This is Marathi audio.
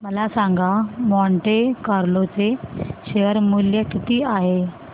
मला सांगा मॉन्टे कार्लो चे शेअर मूल्य किती आहे